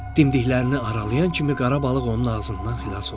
Dimdiklərini aralayan kimi qara balıq onun ağzından xilas oldu.